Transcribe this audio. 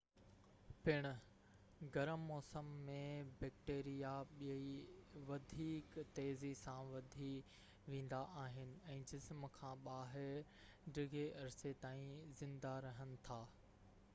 پڻ گرم موسم ۾ بيڪٽيريا ٻئي وڌيڪ تيزي سان وڌي ويندا آهن ۽ جسم کان ٻاهر ڊگهي عرصي تائين زنده رهن ٿا